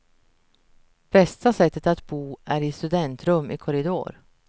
Bästa sättet att bo är i studentrum i korridor.